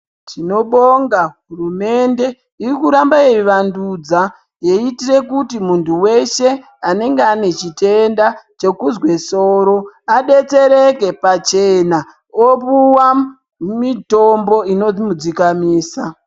Tinobonga hurumende irikuramba yeivandudza yeiitire kuti muntu veshe anenge ane chitenda chekuzwe soro. Abetsereke pachena opuva mitombo ino mudzikamisa.